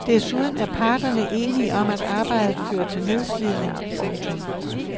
Desuden er parterne enige om at arbejdet fører til nedslidning. punktum